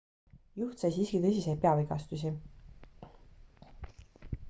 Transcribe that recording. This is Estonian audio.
juht sai siiski tõsiseid peavigastusi